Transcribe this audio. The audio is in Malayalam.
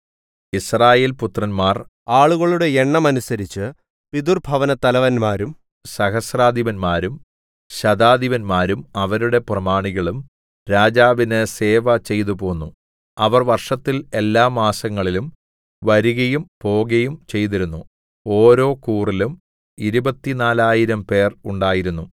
യിസ്രായേൽപുത്രന്മാർ ആളുകളുടെ എണ്ണത്തിനനുസരിച്ച് പിതൃഭവനത്തലവന്മാരും സഹസ്രാധിപന്മാരും ശതാധിപന്മാരും അവരുടെ പ്രമാണികളും രാജാവിന് സേവ ചെയ്തുപോന്നു അവർ വർഷത്തിൽ എല്ലാമാസങ്ങളിലും വരികയും പോകയും ചെയ്തിരുന്നു ഓരോ കൂറിലും ഇരുപത്തിനാലായിരംപേർ 24000 ഉണ്ടായിരുന്നു